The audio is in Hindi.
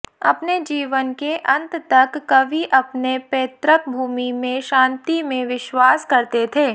अपने जीवन के अंत तक कवि अपने पैतृक भूमि में शांति में विश्वास करते थे